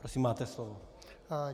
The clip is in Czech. Prosím, máte slovo.